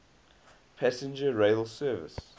passenger rail service